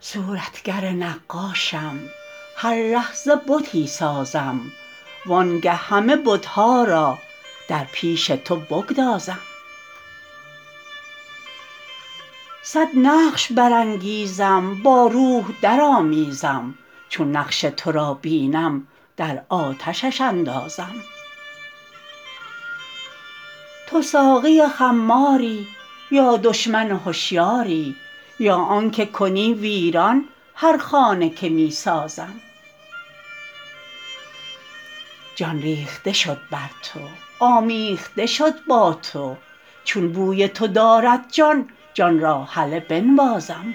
صورتگر نقاشم هر لحظه بتی سازم وانگه همه بت ها را در پیش تو بگدازم صد نقش برانگیزم با روح درآمیزم چون نقش تو را بینم در آتشش اندازم تو ساقی خماری یا دشمن هشیاری یا آنک کنی ویران هر خانه که می سازم جان ریخته شد بر تو آمیخته شد با تو چون بوی تو دارد جان جان را هله بنوازم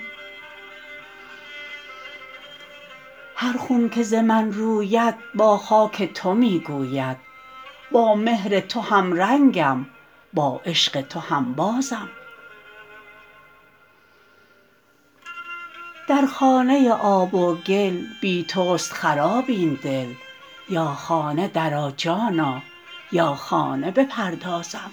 هر خون که ز من روید با خاک تو می گوید با مهر تو همرنگم با عشق تو هنبازم در خانه آب و گل بی توست خراب این دل یا خانه درآ جانا یا خانه بپردازم